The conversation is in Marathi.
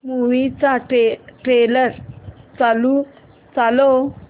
मूवी चा ट्रेलर चालव